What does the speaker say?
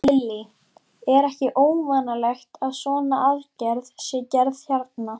Lillý: Er ekki óvanalegt að svona aðgerð sé gerð hérna?